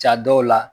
Ja dɔw la